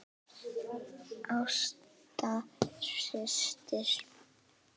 Ásta systir.